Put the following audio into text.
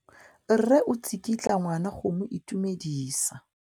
Mme o tsikitla ngwana go mo itumedisa.